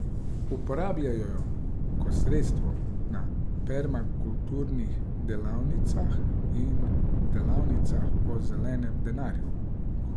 Uporabljajo jo kot sredstvo na permakulturnih delavnicah in delavnicah o zelenem denarju.